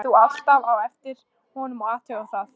Hringdir þú alltaf á eftir honum og athugaðir það?